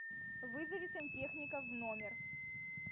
вызови сантехника в номер